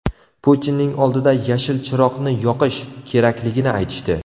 Putinning oldida ‘yashil chiroqni yoqish’ kerakligini aytishdi.